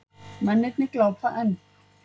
Mennirnir glápa enn.